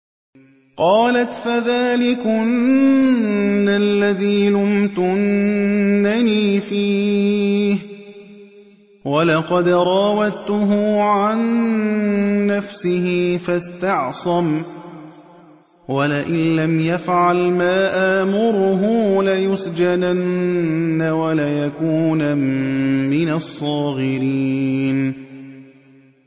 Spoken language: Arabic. قَالَتْ فَذَٰلِكُنَّ الَّذِي لُمْتُنَّنِي فِيهِ ۖ وَلَقَدْ رَاوَدتُّهُ عَن نَّفْسِهِ فَاسْتَعْصَمَ ۖ وَلَئِن لَّمْ يَفْعَلْ مَا آمُرُهُ لَيُسْجَنَنَّ وَلَيَكُونًا مِّنَ الصَّاغِرِينَ